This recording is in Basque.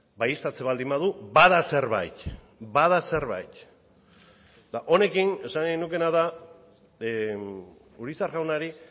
baieztatzen baldin badu bada zerbait honekin esan nahi nukeena da urizar jaunari